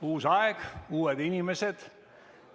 Uus aeg, uued inimesed.